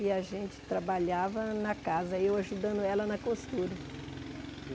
E a gente trabalhava na casa, eu ajudando ela na costura.